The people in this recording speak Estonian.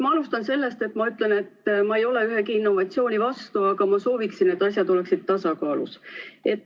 Ma alustan sellest, et ütlen: ma ei ole ühegi innovatsiooni vastu, aga ma sooviksin, et asjad oleksid tasakaalus.